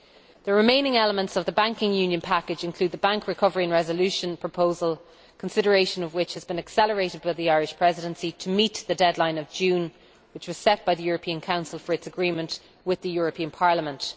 The remaining elements of the banking union package include the Bank Recovery and Resolution proposal, consideration of which has been accelerated by the Irish Presidency to meet the June deadline which was set by the European Council for its agreement with the European Parliament.